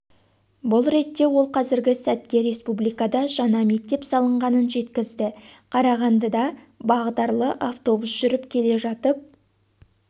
бұл ретте ол қазіргі сәтке республикада жаңа мектеп салынғанын жеткізді қарағандыда бағдарлы автобус жүріп келе жатып